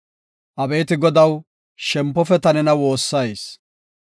Abeeti Godaw, shempofe ta nena woossayis.